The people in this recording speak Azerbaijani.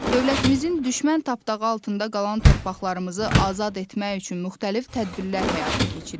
Dövlətimizin düşmən tapdağı altında qalan torpaqlarımızı azad etmək üçün müxtəlif tədbirlər həyata keçirir.